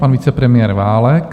Pan vicepremiér Válek.